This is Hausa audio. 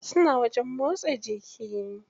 Suna wajen motsa jiki.